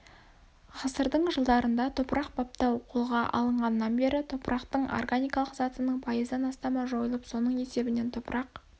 ғасырдың жылдарында топырақ баптау қолға алынғаннан бері топырақтың органикалық затының пайыздан астамы жойылып соның есебінен топырақ